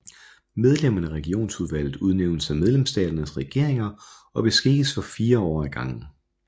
Medlemmerne af Regionsudvalget udnævnes af medlemsstaternes regeringer og beskikkes for fire år ad gangen